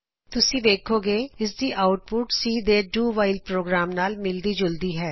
ਤੁਸੀ ਵੇਖੋਗੇ ਇਸ ਦੀ ਆਉਟਪੁਟ C ਦੇ do while do while program ਨਾਲ ਮਿਲਦੀ ਜੁਲਦੀ ਹੈ